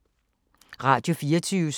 Radio24syv